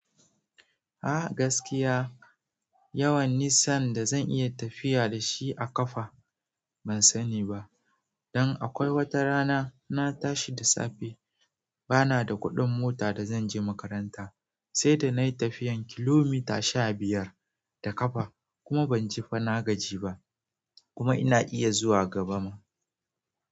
A gaskiya yawan nisan da zan iya tafiya da shi a ƙafa ban sani ba, dan akwai wata rana na tashi da safe bana da kuɗin mota da zan je makaranta sai sai da nayi tafiyan kilomita sha biyar da ƙafa kuma ban ji fa na gaji ba kuma ina iya zuwa gaba ma.